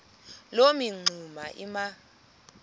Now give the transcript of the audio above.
loo mingxuma iba